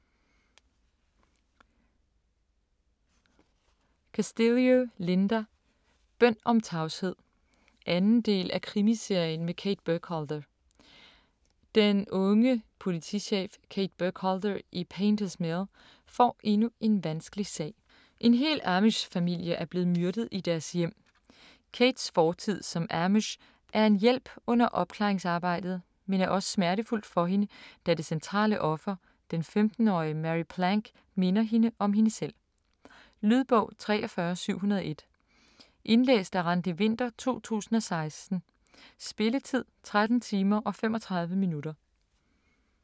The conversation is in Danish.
Castillo, Linda: Bøn om tavshed 2. del af Krimiserien med Kate Burkholder. Den unge politichef Kate Burkholder i Painters Mill får endnu en vanskelig sag: En hel amish familie er blevet myrdet i deres hjem. Kates fortid som amish er en hjælp under opklaringsarbejdet, men er også smertefuld for hende, da det centrale offer, den 15-årige Mary Plank, minder hende om hende selv. Lydbog 43701 Indlæst af Randi Winther, 2016. Spilletid: 13 timer, 35 minutter.